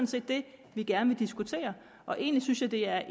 set det vi gerne vil diskutere og egentlig synes jeg det er